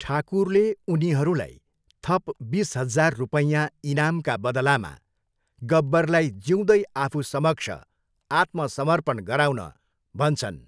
ठाकुरले उनीहरूलाई थप बिस हजार रुपैयाँ इनामका बदलामा गब्बरलाई जिउँदै आफूसमक्ष आत्मसमर्पण गराउन भन्छन्।